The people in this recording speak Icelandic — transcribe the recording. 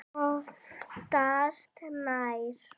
Oftast nær